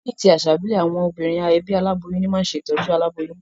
Ní ti àsà ìbílè, àwon obìnrin ebí aláboyún ní ma n se tójú aláboyún